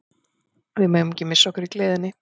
Við megum ekki missa okkur í gleðinni.